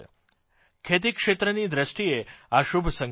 ખેતીક્ષેત્રની દ્રષ્ટિએ આ શુભ સંકેત છે